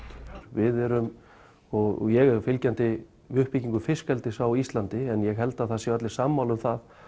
við erum og ég er fylgjandi uppbyggingu fiskeldis á Íslandi en ég held það séu allir sammála um það